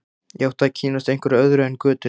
Ég átti að kynnast einhverju öðru en götunni.